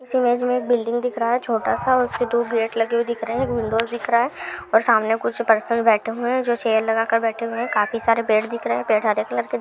एक बिल्डिंग दिख रहा है छोटा सा। उसपे टू गेट लगे हुए दिख रहे हैं। एक विंडोज़ दिख रहा है और सामने कुछ पर्सन्स बैठे हुए हैं जो चेयर लगा कर बैठे हुए हैं। काफी सारे पेड़ दिख रहे है। पेड़ हरे कलर के दिख रहे हैं।